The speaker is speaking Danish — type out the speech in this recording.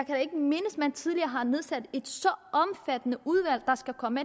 man tidligere har nedsat et så omfattende udvalg der skal komme